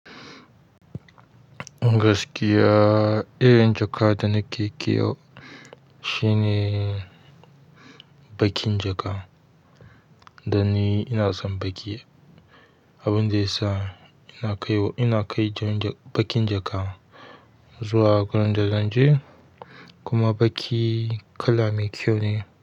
Gaskiya irin jaka da nake kiwo shine bakin jaka, dan ni ina son baƙi. Abunda yasa ina kaiwa, ina kai bakin jaka zuwa wurin da zanje kuma baƙi kala mai kyau ne.